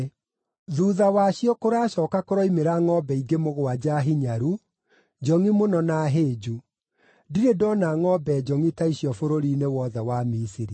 Thuutha wacio kũracooka kũroimĩra ngʼombe ingĩ mũgwanja hinyaru, njongʼi mũno na hĩnju. Ndirĩ ndona ngʼombe njongʼi ta icio bũrũri-inĩ wothe wa Misiri.